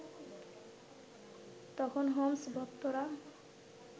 তখন হোমস-ভক্তরা